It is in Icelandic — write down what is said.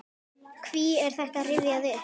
Hví er þetta rifjað upp?